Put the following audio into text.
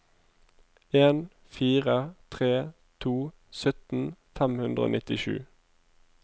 en fire tre to sytten fem hundre og nittisju